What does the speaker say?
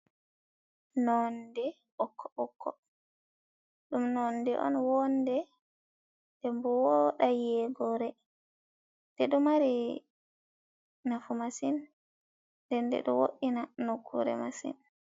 Nonde ɓokko-ɓokko. Ɗum nonde on vonde, den voda yego re, den ɗo mari nafu masin, nden ɗo wo'ina nokkure masin.